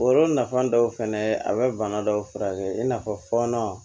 O yɔrɔ nafan dɔw fɛnɛ ye a be bana dɔw furakɛ i n'a fɔɔnɔ